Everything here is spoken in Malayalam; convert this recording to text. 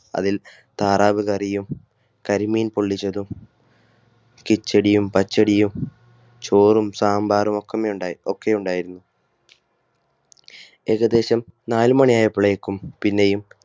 അതിൽ താറാവ് കറിയും കരിമീൻ പൊള്ളിച്ചതും കിച്ചടിയും പച്ചടിയും ചോറും സാമ്പാറും ഒക്കെ ഉണ്ടായിരുന്നു. ഏകദേശം നാലുമണി ആയപ്പോഴേക്കും പിന്നെയും